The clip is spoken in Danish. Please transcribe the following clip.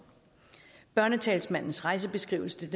børnetalsmandens rejsebeskrivelse